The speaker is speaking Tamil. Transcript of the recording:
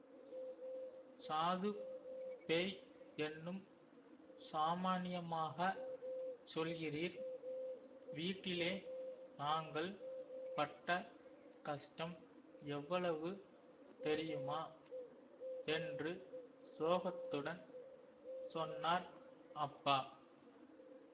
சாது பேய் என்னும் சாமான்யமாகச் சொல்கிறீர் வீட்டிலே நாங்கள் பட்ட கஷ்டம் எவ்வளவு தெரியுமா என்று சோகத்துடன் சொன்னார் அப்பா